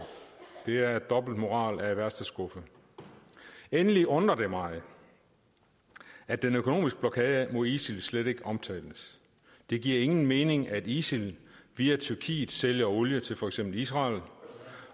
det er dobbeltmoral af værste skuffe endelig undrer det mig at den økonomiske blokade mod isil slet ikke omtales det giver ingen mening at isil via tyrkiet sælger olie til for eksempel israel